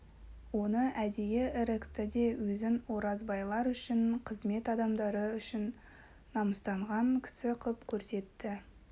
оны әдейі ірікті де өзін оразбайлар үшін қызмет адамдары үшін намыстанған кісі қып көрсетті